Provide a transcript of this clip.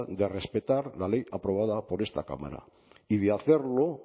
de respetar la ley aprobada por esta cámara y de hacerlo